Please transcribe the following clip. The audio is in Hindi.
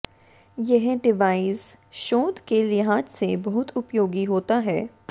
यह डिवाइस शोध के लिहाज से बहुत उपयोगी होता है